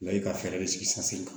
Wa e ka fɛɛrɛ de sigi